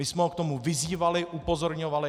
My jsme ho k tomu vyzývali, upozorňovali.